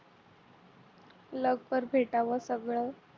लवकर भेटाव सगळ